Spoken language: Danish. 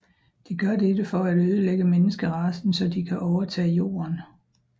De gør dette for at ødelægger menneskeracen så de kan overtage jorden